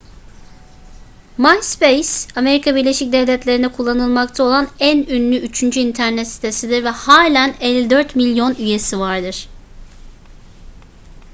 myspace amerika birleşik devletleri'nde kullanılmakta olan en ünlü üçüncü internet sitesidir ve halen 54 milyon üyesi vardır